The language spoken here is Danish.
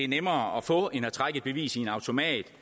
nemmere at få end at trække et bevis i en automat